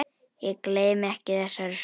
Ég gleymi ekki þessari sögu.